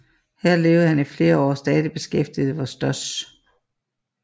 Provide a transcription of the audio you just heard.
Her levede han i flere år stadig beskæftiget hos Stosch